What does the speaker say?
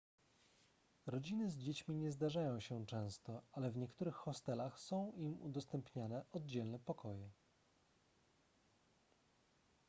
rodziny z dziećmi nie zdarzają się często ale w niektórych hostelach są im udostępniane oddzielne pokoje